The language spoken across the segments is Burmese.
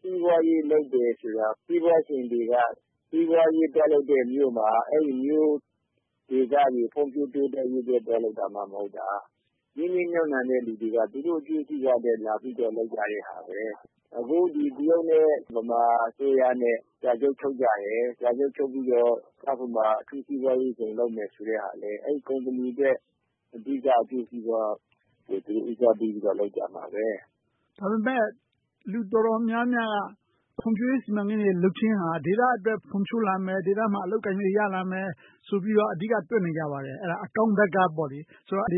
စီးပွားရေးလုပ်တယ်ဆိုတာ စီးပွားရှင်တွေက စီးပွားရေးသွားလုပ်တဲ့မြို့မှာ အဲဒီမြို့ဒေသတွေ ဖွံ့ဖြိုးတိုးတက်ရေးအတွက် သွားလုပ်တာမှ မဟုတ်တာ၊ ရင်းနှီးမြုပ်နံှတဲ့လူတွေက သူတို့အကျိုးစီးပွားအတွက် လာပြီးတော့ လုပ်သွားတာပါ။ အခု တရုတ်နဲ့ ဗမာအစိုးရနဲ့ စာချုပ်ချုပ်ပြီးတော့ ကျောက်ဖြူမှာ အထူးစီးပွားရေးဇုံ လုပ်မယ့်ဟာကလည်း အဲဒီကုမ္ပဏီရဲ့ အဓိကအကျိုးစီးပွားအတွက် လုပ်ကြမှာပါ။ မေး ။ ။ ဒါပေမဲ့ လူတော်တော်များများက ဖွံ့ဖြိုးရေးစီမံကိန်းတွေ လုပ်ခြင်းဟာ ဒေသအတွက် ဖွံ့ဖြိုးလာမယ်။ ဒေသအတွင်း အလုပ်အကိုင်တွေ ရလာမယ်ဆိုပြီးတော့ အဓိကပြောနေကြပါတယ်။ အဲဒါ အကောင်းဘက်ကပေါ့ - ဒေ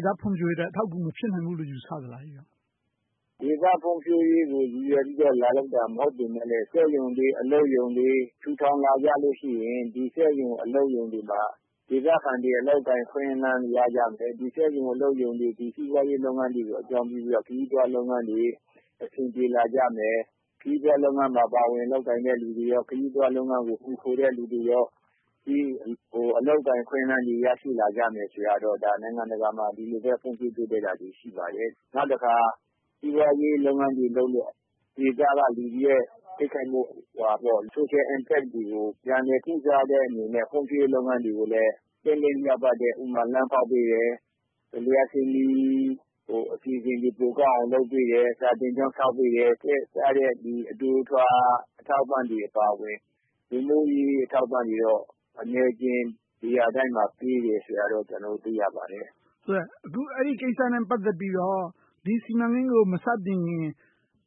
သဖွံ့ဖြိုးရေးအတွက် အထောက်အကူ မဖြစ်နိုင်ဘူးလို့ ယူဆသလား။ ဖြေ ။ ။ ဒေသဖွံ့ဖြိုးရေးကို ရည်ရွယ်ပြီးတော့ လာလုပ်တာမဟုတ်ပေမယ့်လဲ စက်ရုံတွေ၊ အလုပ်ရုံတွေ ထူထောင်လာကြလို့ရှိရင် ဒီစက်ရုံ၊ အလုပ်ရုံတွေမှာ ဒေသခံတွေ အလုပ်အကိုင် အခွင့်အလမ်းတွေ ရကြမယ်။ ဒီစက်ရုံ၊ အလုပ်ရုံတွေ စီးပွားရေးလုပ်ငန်းတွေကို အကြောင်းပြုပြီးတော့ ခရီးသွားလုပ်ငန်းတွေ အဆင်ပြေလာကြမယ်။ ခရီးသွားလုပ်ငန်းမှာ ပါဝင်လုပ်ကိုင်ကြတဲ့လူတွေ၊ ခရီးသွားလုပ်ငန်းကို မှီခိုနေတဲ့ လူတွေလည်း အလုပ်အကိုင်အခွင့်အလမ်းတွေ ရရှိလာကြမယ်ဆိုတာတော့ နိုင်ငံတကာမှာ ဒီလိုပဲ ဖွံ့ဖြိုးတိုးတက်တာတွေ ရှိပါတယ်။ နောက်တခါ စီးပွားရေးလုပ်ငန်းတွေလုပ်လို့ ဒေသကလူတွေရဲ့ Social Impact တွေကို ပြန်လည်ကုစားတဲ့အနေနဲ့ ဖွ့ဖြိုးရေးလုပ်ငန်းတွေကိုလည်း သင့်တင့်လျောက်ပတ်တဲ့.. ဥပမာ လမ်းဖောက်ပေးတယ်။ လျှပ်စစ်မီးကို ပိုကောင်းအောင် လုပ်ပေးတယ်။ စာသင်ကျောင်းဆောက်ပေးတယ် စတဲ့ အတိုအထွာ အထောက်အပံ့တွေအပါအဝင် လူမှုရေးအထောက်အပံ့တွေတော့ အနည်းအကျဉ်း နေရာတိုင်းမှာ ပေးတယ်ဆိုတာတော့ ကျနော်တို့ သိရပါတယ်။ မေး ။ ။ အခုအဲဒီကိစ္စနဲ့ ပတ်သက်ပြီးတော့ ဒီစီမံကိန်းကို မစတင်ခင်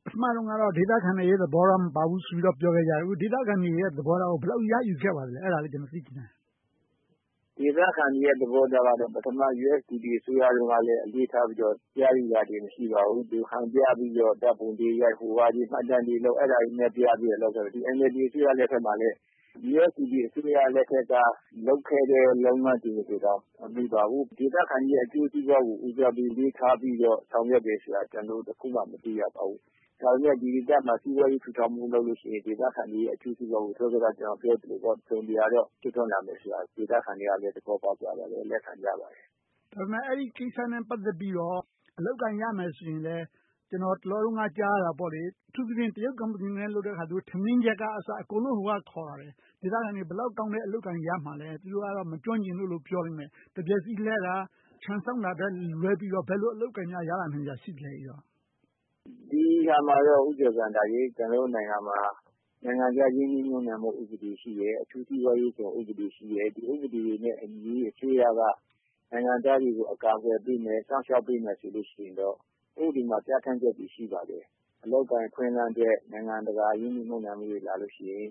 ပထမတုန်းကတော့ ဒေသခံတွေရဲ့ သဘောထားမပါဘူးလို့ ပြောခဲ့တယ်။ အခု ဒေသခံတွေရဲ့ သဘောထားကို ဘယ်လောက်ရယူခဲ့ပါသလဲ။ အဲဒါလေးကို ကျနော် သိချင်ပါတယ်။ ဖြေ ။ ။ ဒေသခံတွေရဲ့ သဘောထားကတော့ ပထမ USDP အစိုးရတုန်းကတော့ အလေးထားပြီးတော့ ရယူတာတွေ မရှိပါဘူး။ ဟန်ပြပြီးတော့ ဓါတ်ပုံတွေရိုက်၊ ဟိုဟာဒီဟာ မှတ်တမ်းတွေလုပ် အဲဒါတွေပြပြီးတော့ လုပ်ခဲ့တယ်။ အခု NLD အစိုးရလက်ထက်မှာလည်း USDP အစိုးရလက်ထက်က လုပ်ခဲ့တဲ့လုပ်ငန်းတွေကိုတောင် မမီပါဘူး။ ဒေသခံတွေရဲ့ အကျိုးစီးပွားကို ဦးစားပေး အလေးထားပြီးတော့ ဆောင်ရွက်တယ်ဆိုတာ ကျနော်တို့ တခုမှ မတွေ့ရပါဘူး။ ဒါပေမဲ့ ဒီဒေသမှာ စီးပွားရေးထူထောင်ဖို့ လုပ်မယ်ဆိုရင် ဒေသခံတွေရဲ့ အကျိုးစီးပွားကို စောစောက ကျနော်ပြောခဲ့သလို တစုံတရာတော့ ရှိလာမယ်ဆိုတာ ဒေသခံတွေက သဘောပေါက်ကြပါတယ်။ လက်ခံကြပါတယ်။ မေး ။ ။ ဒါပေမဲ့ အဲဒီကိစ္စနဲ့ ပတ်သက်ပြီးတော့ အလုပ်အကိုင်ရကြမယ်ဆိုရင်လဲ ကျနော် တလောတုန်းက ကြားသိရတာက အထူးသဖြင့် တရုတ်ကုမ္ပဏီနဲ့ လုပ်တဲ့ဟာဆိုရင် ထမင်းချက်ကစ အကုန်လုံး တရုတ်ပြည်က ခေါ်လာတယ်။ ဒေသခံတွေ ဘယ်လောက်ကောင်းတဲ့ အလုပ်ရမှာလဲ။ သူတို့ကတော့ မကျွမ်းကျင်ဘူးလို့ ပြောလိမ့်မယ်။ တံမြက်စည်းလှည်တာ၊ ခြံစောင့်တာကလွဲလို့ ဘယ်လို အလုပ်အကိုင်မျိုးတွေ ရလာနိုင်စရာရှိလဲ။ ဖြေ ။ ။ ဒီအရာမှာတော့ ကျနော်တို့နိုင်ငံမှာ နိုင်ငံခြားရင်းနှီးမြုပ်နံှမှု ဥပဒေ ရှိတယ်။ အထူးစီးပွားရေးဇုံ ဥပဒေ ရှိတယ်။ အဲဒီဥပဒေတွေနဲ့အညီ အစိုးရက နိုင်ငံသားတွေကို အကာအကွယ်ပေးမယ်၊ စောင့်ရှောက်ပေးမယ်ဆိုလို့ရှိရင်တော့ ဥပဒေမှာ ပြဌာန်းချက်တွေ ရှိပါတယ်။ အလုပ်အကိုင်အခွင့်အလမ်းအတွက် နိုင်ငံတကာ ရင်းနှီးမြုပ်နံှမှုတွေ လာလို့ရှိရင်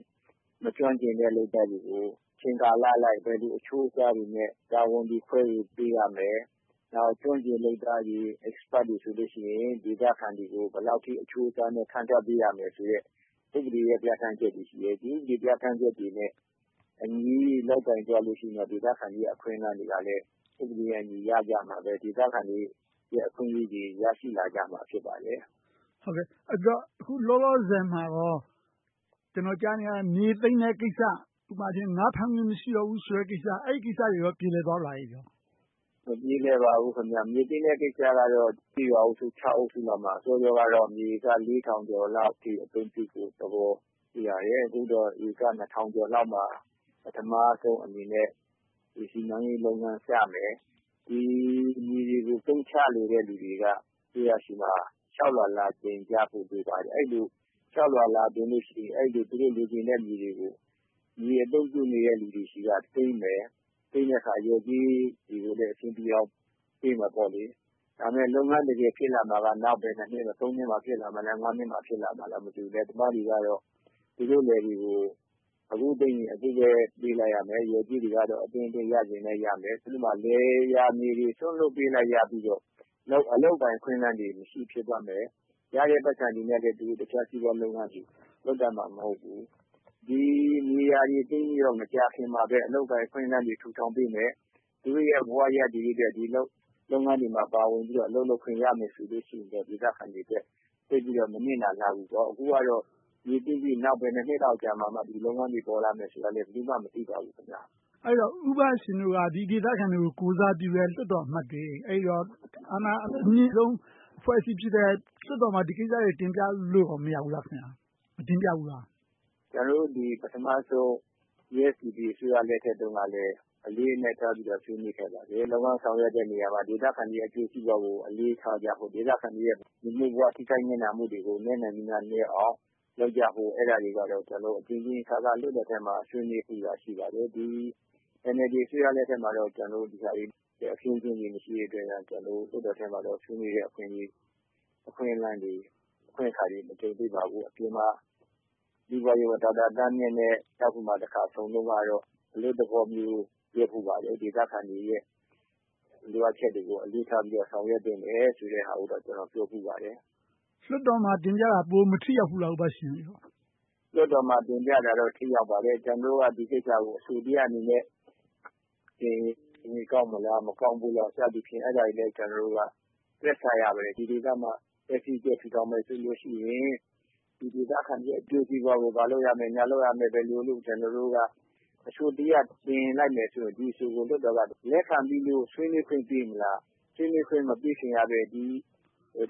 မကျွမ်းကျင်တဲ့ လုပ်သားတွေကို အချိန်ကာလအလိုက်၊ ဘယ်လိုအချိုးအစားတွေနဲ့ တာဝန်တွေ ခွဲဝေပေးရမယ်။ နောက် ကျွမ်းကျင်လုပ်သားတွေ၊ Expert တွေဆိုရင် ဒေသခံတွေကို ဘယ်လောက်အထိ အချိုးအစားနဲ့ ခန့်ထားပေးရမယ်ဆိုတဲ့ ဥပဒေပြဌာန်းချက်တွေ ရှိတယ်။ အဲဒီဥပဒေ ပြဌာန်းချက်တွေနဲ့အညီ လုပ်ကိုင်သွားမယ်ဆိုရင်တော့ ဒေသခံတွေရဲ့ အခွင့်အလမ်းတွေလည်း ဥပဒေနဲ့အညီ ရကြမယ်။ ဒေသခံတွေရဲ့ အခွင့်အရေးတွေ ရရှိလာကြမယ်။ မေး ။ ။ အဲဒီတော့ အခုလောလောဆယ်မှာကော ကျနော်ကြားနေရတာက မြေသိမ်းတဲ့ကိစ္စ၊ ဥပမာ ငါးဖမ်းခွင့် မရှိတော့ဘူးဆိုတဲ့ကိစ္စ အဲဒီကိစ္စတွေကော ပြေလည်သွားပြီလား။ ဖြေ ။ ။ မပြေလည်ပါဘူး။ မြေသိမ်းတဲ့ကိစ္စကတော့ ကျေးရွာအုပ်စု စုလောက်မှာ စောစောကတော့ မြေဧက လေးထောင်ကျော်လောက် အသုံးပြုဖို့ သဘောရှိပါတယ်။ အခုတော့ ဧက နှစ်ထောင်ကျော်လောက်မှာ ပထမဦးဆုံးအနေနဲ့ ဒီ စီမံကိန်းလုပ်ငန်း စမယ်။ ဒီမြေတွေကို အသုံးချနေတဲ့ လူတွေက အစိုးရဆီမှာ လျှောက်လွှာလာတင်ဖို့ လိုပါတယ်။ အဲဒီလို လျှောက်လွှာလာတင်လို့ရှိရင် သူတို့လိုချင်တဲ့မြေတွေကို မြေအသုံးပြုနေတဲ့လူတွေဆီက သိမ်းမယ်။ သိမ်းတဲ့အခါ လျော်ကြေးလည်း အဆင်ပြေအောင်ပေးမယ်။ ဒါပေမဲ့ လုပ်ငန်းတကယ် ဖြစ်လာမှာက နောက် ဘယ်နှစ်နှစ်မှာ ဖြစ်လာမလဲ.. သုံးနှစ်လား၊ ငါးနှစ်လား မသိပါဘူး။ လယ်သမားတွေကတော့ သူတို့လယ်တွေကို အခုသိမ်းရင် အခုပဲ ပေးလိုက်ရမယ်။ လျော်ကြေးတွေကတော့ အသင့်အတင့်လည်း ရပါလိမ့်မယ်။ ဥပမာ လယ်ယာမြေတွေ စွန့်လွှတ်ရပြီးတော့ အလုပ်အကိုင် အခွင့်အလမ်းတွေ မရှိဘဲ ဖြစ်သွားမယ်။ ရတဲ့ပိုက်ဆံတွေနဲ့လည်း တခြားစီးပွားရေးလုပ်ငန်းတွေ လုပ်တတ်မှာ မဟုတ်ဘူး။ ဒီမြေယာတွေ သိမ်းပြီးတော့ မကြာခင်မှာပဲ အလုပ်အကိုင် အခွင့်အလမ်းတွေ ထူထောင်ပေးမယ်။ သူတို့ရဲ့ ဘဝရပ်တည်ရေးအတွက် ဒီလုပ်ငန်းတွေမှာ ပါဝင်ပြီး အလုပ်လုပ်ခွင့် ရမယ်ဆိုရင်တော့ ဒေသခံတွေအတွက် သိပ်ပြီးတော့ မနစ်နာဘူးပေါ့။ အခုကတော့ မြေသိမ်းပြီး နောက်ဘယ်နှစ်နှစ်လောက်မှ ဒီလုပ်ငန်းတွေ ပေါ်လာမလဲဆိုတာလဲ ဘယ်သူမှ မသိပါဘူး။ မေး ။ ။ အဲဒီတော့ ဦးဘရှင်တို့က ဒီဒေသခံတွေကို ကိုယ်စားပြုတဲ့ လွှတ်တော်အမတ်တွေ။ အာဏာအမြင့်ဆုံး အဖွဲ့အစည်းဖြစ်တဲ့ လွှတ်တော်မှာ ဒီကိစ္စတွေကို တင်ပြလို့ မရဘူးလား။ မတင်ပြဘူးလား။ ဖြေ ။ ။ ကျနော်တို့ ပထမဦးဆုံး USDP အစိုးရလက်ထက်တုန်းကလည်း အလေးအနက်ထားပြီးတော့ ဆွေးနွေးခဲ့ပါတယ်။ ဒီလိုလုပ်ငန်းဆောင်ရွက်တဲ့နေရာမှာ ဒေသခံတွေရဲ့ အကျိုးစီးပွားကို အလေးထားကြဖို့၊ ဒေသခံတွေရဲ့ လူမှုဘဝ ထိခိုက်နစ်နာစေမယ့်အရာတွေကို နည်းနိုင်သမျှနည်းအောင် လုပ်ကြဖို့ အဲဒါတွေကိုတော့ အကြိမ်ကြိမ်အခါခါ လွှတ်တော်ထဲမှာ ဆွေးနွေးခဲ့ပါတယ်။ အခု NLD အစိုးရလက်ထက်မှာတော့ ဒီအခင်းအကျင်းတွေ မရှိတဲ့အတွက် လွှတ်တော်ထဲမှာ ဆွေးနွေးနိုင်တဲ့ အခွင့်အလမ်းတွေ၊ အခွင့်အခါတွေ မကြုံသေးပါဘူး။ အပြင်မှာ စီးပွားကူးသန်းဝန်ကြီး ဒေါက်တာသန်းမြင့်နဲ့ ကျောက်ဖြူမှာ တခါဆုံတုန်းကတော့ အလွတ်သဘောမျိုး ပြောဖူးပါတယ်။ ဒေသခံတွေရဲ့ လိုအပ်ချက်တွေကို အလေးထားပြီးတော့ ဆောင်ရွက်သင့်တယ်ဆိုတာကိုတော့ ပြောဖူးပါတယ်။ မေး ။ ။ လွှတ်တော်မှာ တင်ပြတာ ပိုမထိရောက်ဘူးလား။ ဖြေ ။ ။ လွှတ်တော်မှာ တင်ပြတာတော့ ထိရောက်ပါတယ်။ ကျနော်တို့ ဒီကိစ္စကို အဆိုတရပ်အနေနဲ့ တင်ရင်ကောင်းမလား၊ မကောင်းဘူးလား စသဖြင့် ကျနော်တို့က တွက်ဆရပါတယ်။ ဒီဒေသမှာ အထူးစီးပွားရေးဇုံ ထူထောင်မယ်ဆိုရင် ဒီဒေသခံတွေရဲ့ အကျိုးစီးပွားကို ဘာလုပ်ရမယ်၊ ညာလုပ်ရမယ်၊ ဘယ်လိုလုပ်ဆိုပြီး အဆိုတရပ် တင်လိုက်မယ်ဆိုရင် ဒီအဆိုကို လွှတ်တော်က လက်ခံပြီးတော့ ဆွေးနွေးခွင့် ပေးမလား။ ဆွေးနွေးခွင့် မပေးခင်ကပဲ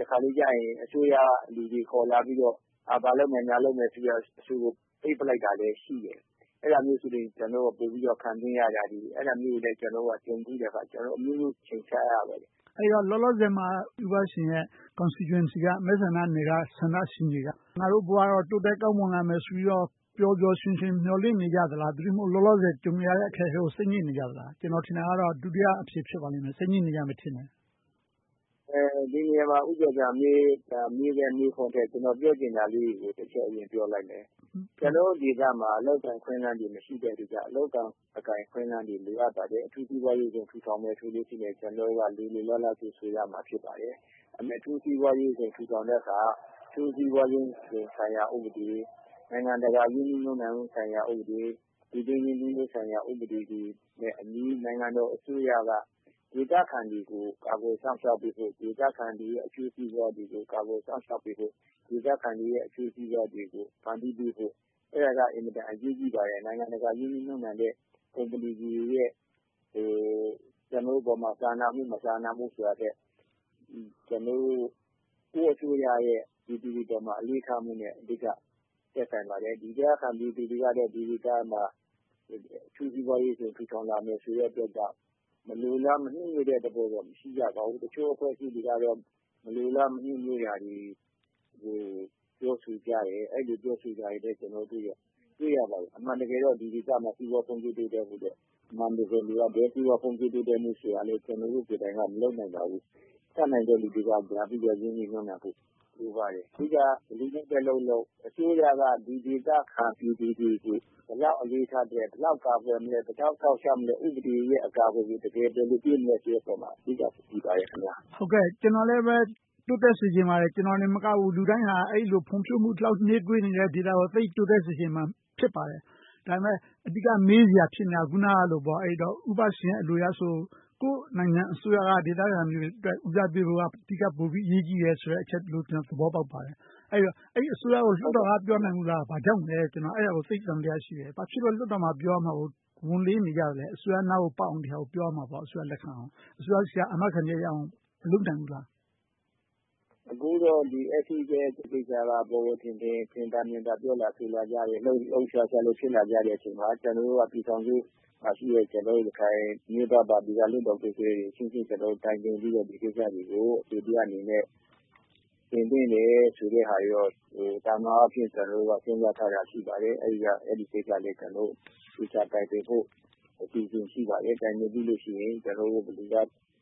တခါတလေကြရင် အစိုးရကလူတွေခေါ်လာပြီးတော့ ဘာလုပ်မယ်၊ ညာလုပ်မယ်ဆိုပြီးတော့ အဆိုကို ပိတ်လိုက်တာလည်း ရှိတယ်။ အဲဒီလိုမျိုးဆိုရင် ကျနော်တို့က ပိုပြီးတော့ ခံပြင်းရတာတွေ ရှိပြီး၊ အဲဒီလိုမျိုးကြုံဖူးတဲ့အခါကြတော့ အမျိုးမျိုးချိန်ဆရပါတယ်။ မေး ။ ။ အဲဒီတော့ လောလောဆယ်မှာ ဦးဘရှင်ရဲ့ မဲဆန္ဒနယ်က ဆန္ဒရှင်တွေက ငါတို့ဘဝတော့ တိုးတက်ကောင်းမွန်လာမယ်ဆိုပြီးတော့ ပျော်ပျော်ရွှင်ရွင် မျှော်လင့်နေကြသလား။ သို့တည်းမဟုတ် လောလောဆယ် ကြုံနေရတဲ့ အခက်အခဲတွေကို စိတ်ညစ်နေကြသလား။ ကျနော်ထင်တာကတော့ ဒုတိယအဖြေ ဖြစ်ပါလိမ့်မယ်။ စိတ်ညစ်နေကြမယ်ထင်တယ်။ ဖြေ ။ ။ ဒီနေရမှာ ဦးကျော်ဇံသာ မေးတဲ့မေးခွန်းထက် ကျနော်ပြောချင်တာလေးတွေကို တချက်ပြောပါမယ်။ ကျနော်တို့ဒေသမှာ အလုပ်အကိုင် အခွင့်အလမ်းတွေ မရှိတဲ့အတွက်ကြောင့် အလုပ်အကိုင် အခွင့်အလမ်းတွေ လိုအပ်ပါတယ်။ အထူးစီးပွားရေးဇုံ ထူထောင်မယ်ဆိုရင် ကျနော်တို့က လိုလိုလားလား ကြိုဆိုရမှာ ဖြစ်ပါတယ်။ ဒါပေမဲ့ အထူးစီးပွားရေးဇုံ ထူထောင်တဲ့အခါ အထူးစီးပွားရေးဇုံဆိုင်ရာ ဥပဒေ၊ နိုင်ငံတကာရင်းနှီးမြုပ်နံှမှုဆိုင်ရာ ဥပဒေ၊ ပြည်တွင်းရင်းနှီးမြုပ်နံှမှု ဥပဒေတွေနဲ့အညီ နိုင်ငံတော်အစိုးရက ဒေသခံတွေကို ကာကွယ်စောင့်ရှောက်ပေးဖို့၊ ဒေသခံတွေရဲ့ အကျိုးစီးပွားတွေကို ကာကွယ်စောင့်ရှောက်ပေးဖို့၊ ဒေသခံတွေရဲ့ အကျိုးစီးပွားတွေကို ဖန်တီးပေးဖို့ အဲဒါတွေက အင်မတန်မှ အရေးကြီးပါတယ်။ နိုင်ငံတကာရင်းနှီးမြုပ်နှံတဲ့ ကုမ္ပဏီတွေရဲ့ ကျနော်တို့အပေါ်မှာ စာနာမှု၊ မစာနာမှုဆိုတာထက် ကျနော်တို့ ကိုယ့်အစိုးရရဲ့ ဒီအပေါ်မှာ အလေးထားမှုက အဓိက သက်ဆိုင်ပါတယ်။ ဒေသခံပြည်သူတွေက ဒီဒေသမှာ အထူးစီးပွားရေးဇုံ ထူထောင်လာမယ့်အတွက်ကြောင့် မလိုလားမနှစ်မြိုတာတော့ မရှိပါဘူး။ တချို့အဖွဲ့အစည်းတွေကတော့ မလိုလားမနှစ်မြိုတာတွေ ပြောဆိုကြတယ်။ အဲဒီလို ပြောဆိုနေတာတွေလည်း ကျနော်တို့ တွေ့ရပါတယ်။ အမှန်တကယ်တော့ ဒီဒေသမှာ စီးပွားရေးဖွံ့ဖြိုးတိုးတက်ဖို့ အမှန်တကယ် လိုအပ်တယ်။ စီးပွားဖွံ့ဖြိုးတိုးတက်ဖို့ကိုလည်း ကျနော်တို့ကိုယ်တိုင်က မလုပ်နိုင်ပါဘူး။ တတ်နိုင်တဲ့လူတွေက လာပြီးတော့ ရင်းနှီးမြုပ်နံှဖို့ လိုပါတယ်။ အဓိက ဘယ်သူနဲ့လုပ်လုပ် အစိုးရက ဒီဒေသခံ ပြည်သူတွေကို ဘယ်လောက်အလေးထားသလဲ။ ဘယ်လောက်ကာကွယ်ပေးနိုင်မလဲ။ ဘယ်လောက်စောင့်ရှောက်မလဲ။ ဥပဒေရဲ့ အကာအကွယ်ကို ဘယ်လိုလုပ်ပေးမလဲဆိုတဲ့အပေါ်မှာ မူတည်ပါတယ်။ မေး ။ ။ ကျနော်လည်းပဲ တိုးတက်စေချင်ပါတယ်။ ကျနော်မကဘူး လူတိုင်းဟာ အဲဒီလို ဖွံ့ဖြိုးမှုနှေးကွေးနေတဲ့ ဒေသကို တိုးတက်စေချင်မှာ ဖြစ်ပါတယ်။ ဒါပေမဲ့ အဓိက မေးစရာဖြစ်နေတာက အခုနလို ဦးဘရှင်အလိုအရဆိုရင် ကိုယ့်နိုင်ငံအစိုးရက ဒေသခံတွေအတွက် ဦးစားပေးဖို့က အဓိကအရေးကြီးတယ်ဆိုတဲ့ အချက်လို့ ကျနော် သဘောပေါက်ပါတယ်။ အဲဒီတော့ အဲဒီအစိုးရကို လွှတ်တော်က မပြောနိုင်ဘူးလား။ ဘာကြောင့်လဲ အဲဒါကို ကျနော်သိပ်သံသယ ရှိနေတယ်။ ဘာဖြစ်လို့ လွှတ်တော်မှာပြောရမှာကို ဝန်လေးနေကြတာလဲ။ အစိုးရနားကိုပေါက်အောင်၊ လက်ခံအောင် ပြောရမှာပေါ့။ အစိုးရဆီက အာမခံချက်ရအောင် မလုပ်နိုင်ကြဘူးလား။ ဖြေ ။ ။ အခုတော့ အထူးစီးပွားရေးဇုံကိစ္စက ပေါ်ပေါ်ထင်ထင်၊ ထင်သာမြင်သာ ပြောလာဆိုလာကြတယ်။ လှုပ်လှုပ်ရှားရှားလည်း ဖြစ်လာချိန်မှာ ကျနော်တို့က ပြည်ထောင်စုလွှတ်တော်မှာရှိတဲ့ ကျနော်တို့ ရခိုင်အမျိုးသားပါတီက လွှတ်တော်ကိုယ်စားလှယ်တွေအချင်းချင်း တိုင်ပင်ပြီးတော့ ဒီကိစ္စတွေကို အဆိုတရပ်အနေနဲ့ တင်သွင်းတယ်ဆိုတဲ့ဟာတွေတော့ သာမန်အားဖြင့် စဉ်းစားထားတာ ရှိပါတယ်။ အဲဒီကိစ္စကို သေချာတိုင်ပင်ဖို့ အစီအစဉ် ရှိပါတယ်။ တိုင်ပင်ပြီလို့ရှိရင် ကျနော်တို့ ဘယ်သူက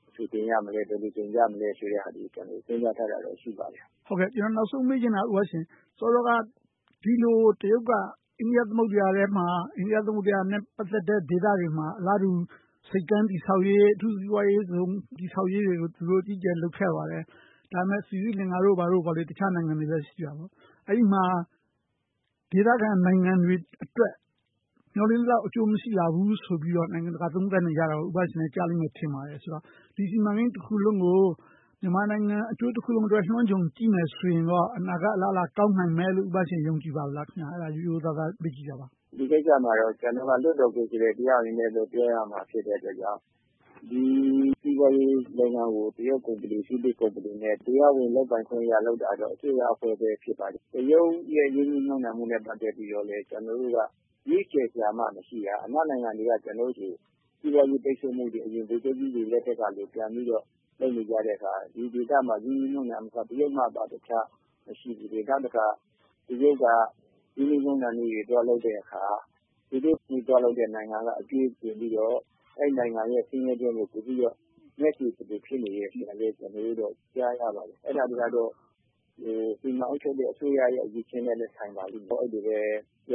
အဆိုတင်သွင်းမလဲ။ ဘယ်လိုတင်ပြကြမလဲဆိုတာတွေကို ကျနော်တို့ စဉ်းစားထားတာ ရှိပါတယ်။ မေး ။ ။ နောက်ဆုံးမေးချင်တာက ဒီလိုတရုတ်က အိန္ဒိယသမုဒ္ဒရာထဲမှာ အိန္ဒိယသမုဒ္ဒရာနဲ့ ပတ်သက်တဲ့ ဒေသတွေမှာ အလားတူဆိပ်ကမ်း တည်ဆောက်ရေး၊ အထူးစီးပွားရေးဇုံ တည်ဆောက်ရေးတွေကို အကြီးအကျယ် လုပ်ခဲ့ပါတယ်။ ဒါပေမဲ့ သီရိလင်္ကာနဲ့ တခြားနိုင်ငံတွေမှာ ဒေသခံနိုင်ငံတွေအတွက် မျှော်လင့်သလောက် အကျိုးမရှိခဲ့ဘူးဆိုတာကို နိုင်ငံတကာက သုံးသပ်ပြောနေကြတာကို ဦးဘရှင်လည်း ကြားလိမ့်မယ် ထင်ပါတယ်။ ဒီ စီမံကိန်းတခုလုံးကို မြန်မာနိုင်ငံ အကျိုးတခုလုံးနဲ့ လွှမ်းခြုံကြည့်မယ်ဆိုရင် အနာဂတ်အလားအလာ ကောင်းနိုင်မယ်လို့ ဦးဘရှင် ယုံကြည်ပါလား။ ရိုးရိုးသားသား မေးကြည့်တာပါ။ ဖြေ ။ ။ ဒီကိစ္စမှာတော့ ကျနော်က လွှတ်တော်ကိုယ်စားလှယ်တယောက်အနေနဲ့ပဲ ပြောရမှာ ဖြစ်တဲ့အတွက်ကြောင့် ဒီစီးပွားရေးလုပ်ငန်းကို တရုတ်ကုမ္ပဏီနဲ့ တရားဝင်လုပ်ပိုင်ခွင့်ရလို့ လုပ်တာတော့ အစိုးရအဖွဲ့ပဲ ဖြစ်ပါတယ်။ တရုတ်ရဲ့ ရင်းနှီးမြုပ်နံှမှုနဲ့ ပတ်သက်ပြီးတော့ ကျနော်တို့က ရွေးချယ်စရာမှ မရှိတာ။ အနောက်နိုင်ငံတွေက ကျနော်တို့ကို စီးပွားရေးပိတ်စို့မှုတွေကို ဗိုလ်ချုပ်ကြီးတွေ လက်ထက်တုန်းကလို ပြန်ပြီးတော့ လုပ်နေကြတဲ့အခါ ဒီဒေသမှာ ရင်းနှီးမြုပ်နံှမှုက တရုတ်မှတပါး အခြားမရှိဘူး။ နောက်တခါ တရုတ်က ရင်းနှီးမြုပ်နံှမှုတွေ လုပ်တဲ့အခါ သူတို့သွားလုပ်တဲ့နိုင်ငံက အကြွေးတင်ပြီးတော့ အဲဒီနိုင်ငံရဲ့ ဆင်းရဲတွင်းကို ပိုပြီးတော့ နက်စေသလို ဖြစ်နေတယ်ဆိုတာကိုတော့ ကျနော်တို့ ကြားသိရပါတယ်။ အဲဒါကတော့ စီမံအုပ်ချုပ်တဲ့ အစိုးရရဲ့ အရည်အချင်းနဲ့ ဆိုင်ပါလိမ့်မယ်။ အဲဒီလိုပဲ ပြ